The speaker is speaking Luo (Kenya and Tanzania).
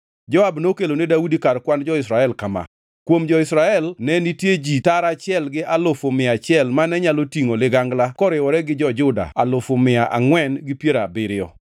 Joab nokelo ne Daudi kar kwan jolweny kama: Kuom jo-Israel ne nitie ji tara achiel gi alufu mia achiel mane nyalo tingʼo ligangla koriwore gi jo-Juda alufu mia angʼwen gi piero abiriyo.